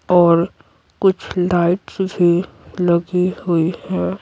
और कुछ लाइट्स भी लगी हुई है।